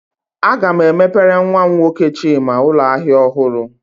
Aga m emepere nwa m nwoke Chima ụlọ ahịa ọhụrụ